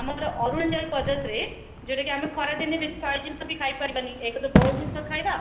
ଆମର ଅରୁଣାଚଳପ୍ରଦେଶ ରେ ଯୋଉଟା କି ଆମେ ଖରାଦିନେ ବେଶୀ fry ଜିନିଷ ବି ଖାଇ ପାରିବାନି ଏକେରେ boil ଜିନିଷ ତ ଖାଇବା